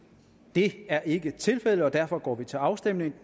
det er ikke tilfældet og derfor går vi til afstemning